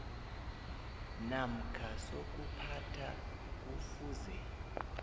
namkha sokuphatha kufuze